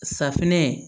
Safinɛ